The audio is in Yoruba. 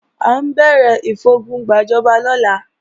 À ń bẹ̀rẹ̀ ìfogun gbàjọba lọ́la